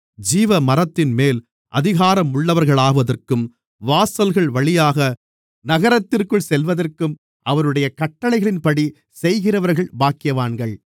ஜீவமரத்தின்மேல் அதிகாரமுள்ளவர்களாவதற்கும் வாசல்கள்வழியாக நகரத்திற்குள் செல்வதற்கும் அவருடைய கட்டளைகளின்படி செய்கிறவர்கள் பாக்கியவான்கள்